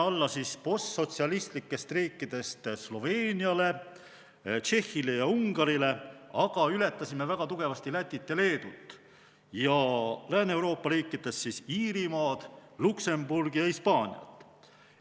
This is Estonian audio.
Postsotsialistlikest riikidest me jäime alla Sloveeniale, Tšehhile ja Ungarile, aga ületasime väga tugevasti Lätit ja Leedut ning Lääne-Euroopa riikidest Iirimaad, Luksemburgi ja Hispaaniat.